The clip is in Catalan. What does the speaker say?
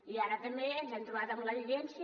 i ara també ens hem trobat amb l’evidència